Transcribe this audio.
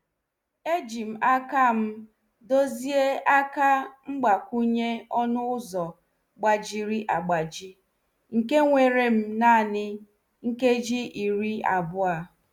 Ejim akam dozie aka mgbakwunye ọnụ ụzọ gbajiri agbaji, nke werem naani nkeji iri abụọ.